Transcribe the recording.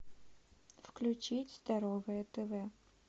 включить здоровое тв